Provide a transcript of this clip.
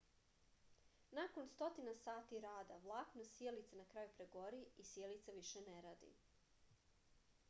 nakon stotina sati rada vlakno sijalice na kraju pregori i sijalica više ne radi